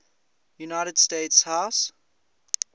united states house